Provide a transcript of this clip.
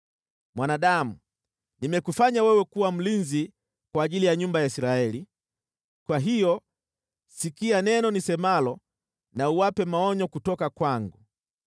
“Mwanadamu, nimekufanya wewe kuwa mlinzi kwa ajili ya nyumba ya Israeli, kwa hiyo sikia neno nisemalo na uwape maonyo kutoka kwangu.